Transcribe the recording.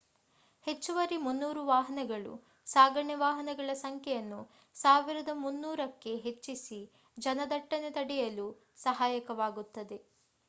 ಹೆಚ್ಚುವರಿ 300 ವಾಹನಗಳು ಸಾಗಣೆ ವಾಹನಗಳ ಸಂಖ್ಯೆಯನ್ನು 1,300 ಕ್ಕೆ ಹೆಚ್ಚಿಸಿ ಜನದಟ್ಟಣೆ ತಡೆಯಲು ಸಹಾಯಕವಾಗುತ್ತದೆ